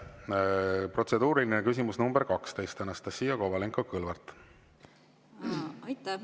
Protseduuriline küsimus nr 12, Anastassia Kovalenko-Kõlvart.